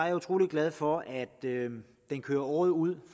er utrolig glad for at den kører året ud